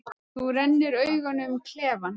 Þú rennir augunum um klefann.